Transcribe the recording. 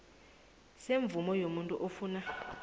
semvumo yomuntu ofuna